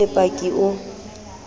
ha o le paki o